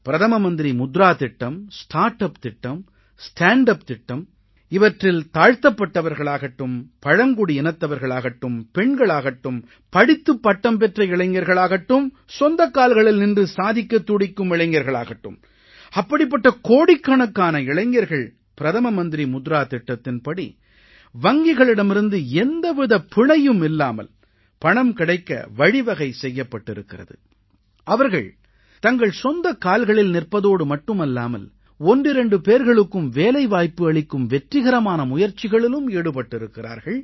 பிரதம மந்திரி முத்ரா திட்டம் ஸ்டார்ட்டப் திட்டம் ஸ்டாண்ட் அப் திட்டம் இவற்றில் தாழ்த்தப்பட்டவர்களாகட்டும் பழங்குடி இனத்தவர்களாகட்டும் பெண்களாகட்டும் படித்துப் பட்டம் பெற்ற இளைஞர்களாகட்டும் சொந்தக் கால்களில் நின்று சாதிக்கத் துடிக்கும் இளைஞர்களாகட்டும் அப்படிப்பட்ட கோடிக்கணக்கான இளைஞர்கள் பிரதம மந்திரி முத்ரா திட்டத்தின்படி வங்கிகளிடமிருந்து எந்த வித பிணையும் இல்லாமல் பணம் கிடைக்க வழிவகை செய்யப்பட்டிருக்கிறது அவர்கள் தங்கள் சொந்தக் கால்களில் நிற்பதோடு மட்டுமல்லாமல் ஒன்றிரண்டு பேர்களுக்கும் வேலைவாய்ப்பு அளிக்கும் வெற்றிகரமான முயற்சிகளிலும் ஈடுபட்டிருக்கிறார்கள்